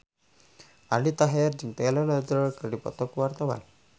Aldi Taher jeung Taylor Lautner keur dipoto ku wartawan